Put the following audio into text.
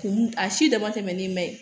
Kun a si dama tɛmɛnen bɛ ye